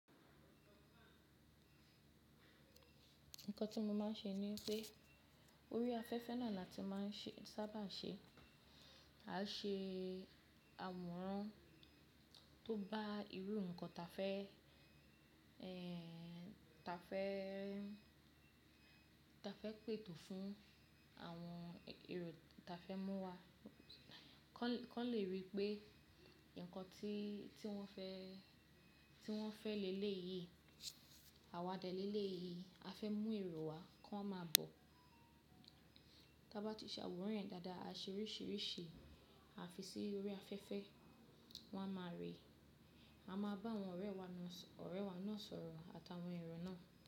Nǹkan tí mo máa ń ṣe ní pé orí afẹ́fẹ́ náà la tí màá ń se sábà ṣe. A ṣe àwòrán tó bá irú nǹkan ta fẹ́, ẹ́ ta fẹ́, ta fẹ́ pètò fún àwọn èrò ta fẹ́ mú wá kò lè Kọ́ lè rí i pé nǹkan tí tí wọ́n fẹ́, tí wọ́n fẹ́ lélè yìí, àwa dẹ̀ lélè yìí. A fẹ́ mú èrò wá, kò máa bọ̀. Tábá ti ṣàwòrán yen dáadáa, a ṣe oríṣìíríṣìí, a fi sí orí afẹ́fẹ́, wọ́n á máa rí i. A máa bá àwọn ọ̀rẹ́ wa náà so, ọ̀rẹ́ wa náà sọ̀rọ̀ àtàwọn èrò náà.